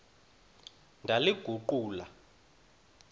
ndaliguqula